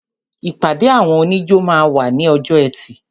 ìpàdé àwọn oníjó máa wà ní ọjọ́ ẹtì.